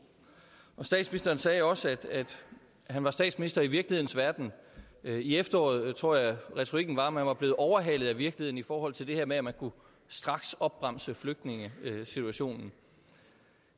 statsministeren sagde også at han var statsminister i virkelighedens verden i efteråret tror jeg retorikken var at man var blevet overhalet af virkeligheden i forhold til det her med at man kunne straksopbremse flygtningesituationen